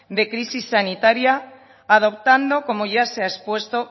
de crisis sanitaria adoptando como ya se ha expuesto